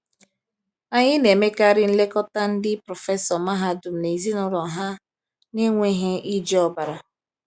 Anyị na-emekarị nlekọta ndị prọfesọ mahadum na ezinụlọ ha n’enweghị iji ọbara.